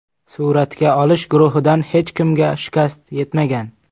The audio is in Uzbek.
Suratga olish guruhidan hech kimga shikast yetmagan.